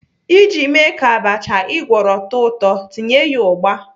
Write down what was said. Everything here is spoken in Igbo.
Iji mee ka abacha ị gwọrọ too ụtọ, tinye ya ugba.